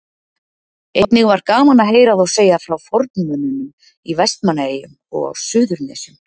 Einnig var gaman að heyra þá segja frá formönnunum í Vestmannaeyjum og á Suðurnesjum.